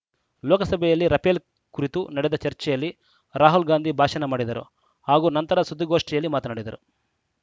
ಲೋಕಸಭೆಯಲ್ಲಿ ರಫೇಲ್‌ ಕುರಿತು ನಡೆದ ಚರ್ಚೆಯಲ್ಲಿ ರಾಹುಲ್‌ ಗಾಂಧಿ ಭಾಷಣ ಮಾಡಿದರು ಹಾಗೂ ನಂತರ ಸುದ್ದಿಗೋಷ್ಠಿಯಲ್ಲಿ ಮಾತನಾಡಿದರು